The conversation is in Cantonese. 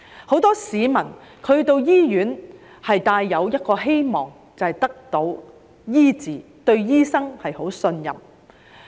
很多市民到醫院是希望得到醫治，對醫生十分信任。